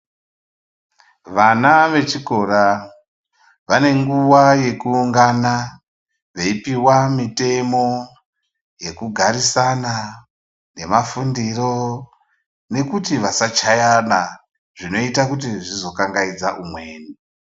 Vana vechikora vane nguwa yekuhlongana veipuwa mitemo yekugarisana nemafundiro nekuti vasachayana zvinoita kuti zvizokangaidza umweni.